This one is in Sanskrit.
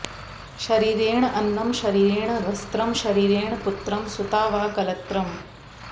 शरीरेण अन्नं शरीरेण वस्त्रम् शरीरेण पुत्रः सुता वा कलत्रम्